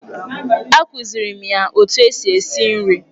Akụzighiri m ya otu eji esi nri.